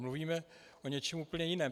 Mluvíme o něčem úplně jiném.